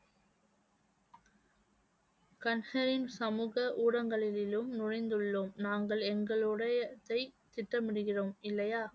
சமூக ஊடகங்களிலும் நுழைந்துள்ளோம் நாங்கள் எங்களுடையதை திட்டமிடுகிறோம் இல்லையா